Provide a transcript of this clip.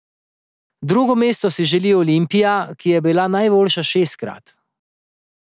Drugo mesto si že deli Olimpija, ki je bila najboljša šestkrat.